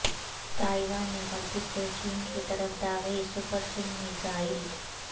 Taiwan نے غلطی سے چین کی طرف داغی سپرسونک میزائل